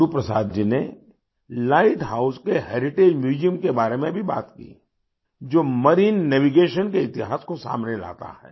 गुरु प्रसाद जी ने lighthouse के heritage museum के बारे में भी बात की जो मेरिन नेविगेशन के इतिहास को सामने लाता है